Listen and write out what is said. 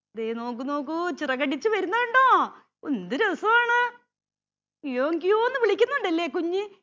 ദേ നോക്കൂ നോക്കൂ ചിറകടിച്ചു വരുന്ന കണ്ടോ എന്തു രസാണ് കിയോം കിയോംന്ന് വിളിക്കുന്നുണ്ടല്ലേ കുഞ്ഞ്